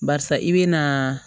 Barisa i bɛ na